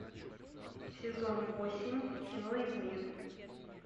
сезон восемь кино измены